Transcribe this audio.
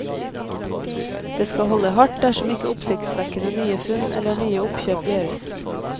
Det skal holde hardt, dersom ikke oppsiktsvekkende nye funn, eller nye oppkjøp gjøres.